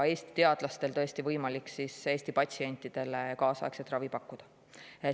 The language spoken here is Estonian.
Eesti teadlastel on võimalik nii Eesti patsientidele kaasaegset ravi pakkuda.